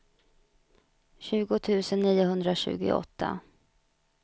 tjugo tusen niohundratjugoåtta